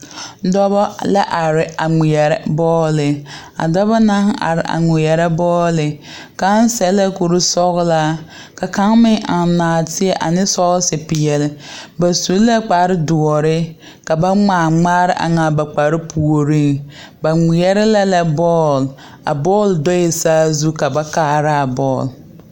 Dɔbɔ la are a ŋmeɛrɛ bɔɔle a dɔbɔ na are a ŋmeɛrɛ bɔɔle kaŋ sɛ la kursɔɡelaa ka kaŋ meŋ eŋ nɔɔteɛ ane sɔɔsepeɛle ba su la kpardoɔre ka ba ŋmaa ŋmaare eŋ a ba kparpuoreŋ ba ŋmeɛrɛ la bɔɔl a bɔɔl doe saazu ka ba kaaraa a bɔɔl.